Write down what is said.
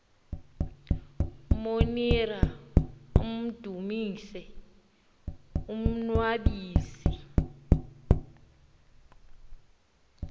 monira amdumise umnnwabisi